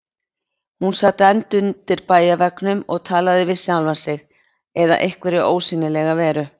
Hún sat enn undir bæjarveggnum og talaði við sjálfa sig eða einhverja ósýnilega veru.